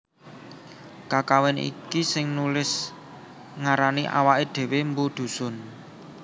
Kakawin iki sing nulis ngarani awaké dhéwé mpu Dhusun